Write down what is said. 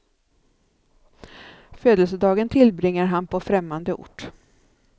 Födelsedagen tillbringar han på främmande ort.